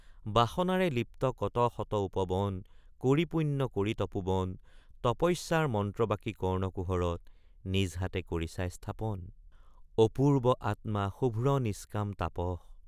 বাসনাৰে লিপ্ত কত শত উপবন কৰি পুণ্য কৰি তপোবন তপস্যাৰ মন্ত্ৰ বাকি কৰ্ণকুহৰত নিজ হাতে কৰিছা স্থাপন অপূৰ্ব আতমা শুভ্ৰ নিষ্কাম তাপস।